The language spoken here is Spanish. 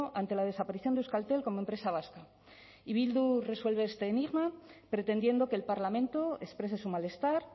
ante la desaparición de euskaltel como empresa vasca y bildu resuelve este enigma pretendiendo que el parlamento exprese su malestar